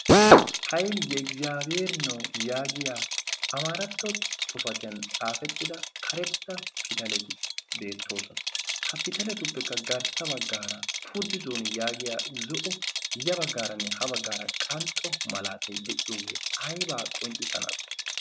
hayl ye iggiziyabiheeri new yaagiya amaaratto pitaliya xaafetida pitaletu garsan, fuudi zooni yaagiya ya bagaaranne ha bagaara de'iya malaatay aybaa qonccisanaasee?